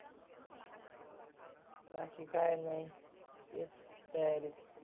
बाकी काही नाही तेच तयारीत.